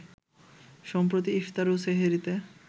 সম্প্রতি ইফতার ও সেহরিতে